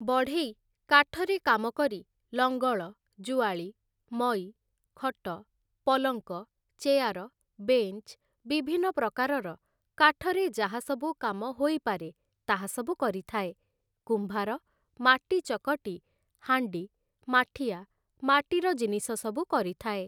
ବଢ଼େଇ କାଠରେ କାମ କରି ଲଙ୍ଗଳ ଜୁଆଳି ମଇ ଖଟ ପଲଙ୍କ ଚେୟାର ବେଞ୍ଚ ବିଭିନ୍ନ ପ୍ରକାରର କାଠରେ ଯାହାସବୁ କାମ ହୋଇପାରେ ତାହା ସବୁ କରିଥାଏ । କୁମ୍ଭାର ମାଟି ଚକଟି ହାଣ୍ଡି ମାଠିଆ ମାଟିର ଜିନିଷ ସବୁ କରିଥାଏ ।